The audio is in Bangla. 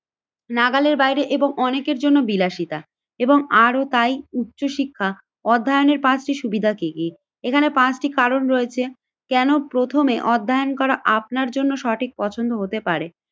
নাগালের বাইরে এবং অনেকের জন্য বিলাসিতা এবং আরও তাই উচ্চশিক্ষা অধ্যায়নের পাঁচটি সুবিধা কি কি এখানে পাঁচটি কারণ রয়েছে। কেন প্রথমে অধ্যায়ন করা আপনার জন্য সঠিক পছন্দ হতে পারে,